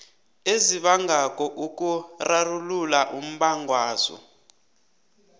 ezibangako ukurarulula umbangwazo